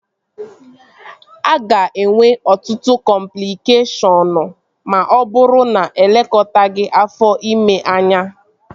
A ga-enwe ọtụtụ cọmplịkeshọnụ ma ọ bụrụ na-elekọtaghi afọ ime anya